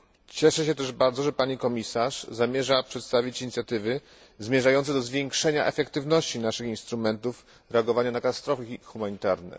Cieszę się, że pani komisarz zamierza przedstawić inicjatywy zmierzające do zwiększenia skuteczności naszych instrumentów reagowania na katastrofy humanitarne.